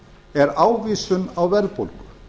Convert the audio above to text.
er ávísun á verðbólgu